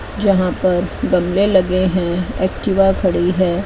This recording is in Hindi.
जहां पर गमले लगे हैं एक्टिवा खड़ी है।